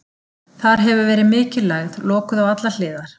Þar hefur verið mikil lægð, lokuð á allar hliðar.